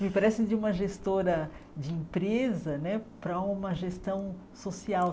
Me parece de uma gestora de empresa né para uma gestão social.